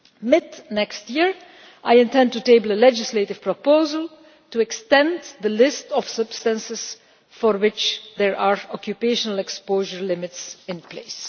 Mid next year I intend to table a legislative proposal to extend the list of substances for which there are occupational exposure limits in place.